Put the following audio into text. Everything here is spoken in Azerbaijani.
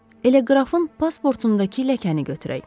Elə qrafın pasportundakı ləkəni götürək.